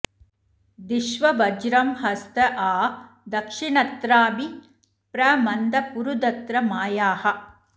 धिष्व वज्रं हस्त आ दक्षिणत्राभि प्र मन्द पुरुदत्र मायाः